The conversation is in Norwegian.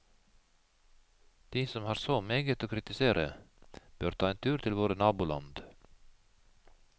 De som har så meget å kritisere, bør ta en tur til våre naboland.